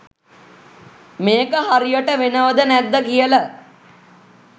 මේක හරියට වෙනවද නැද්ද කියල ?